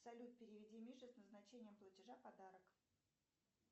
салют переведи мише с назначением платежа подарок